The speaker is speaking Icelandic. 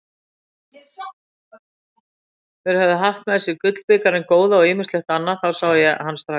Þeir höfðu haft með sér gullbikarinn góða og ýmislegt annað, það sá hann strax.